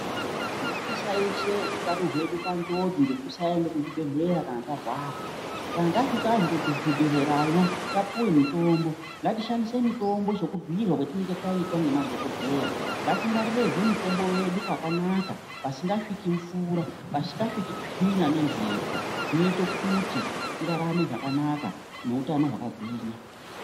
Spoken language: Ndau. Ngatisaishe utano mwedu panjodzi ngekusaende kuzvibhedhlera kana tarwara kana tasvikazve kuzvibhedhlea yo tapuwe mutombo ngatishanfise mutombo sekubhiirwa kwatinenge taitwa nemadhokodheya ngatingwarirezve mutombo yedu pakanaka pasingasviki mvura pasingasviki tsvina nempepo zvinoite kuti tirarame zvakanaka neutano hwakagwinya.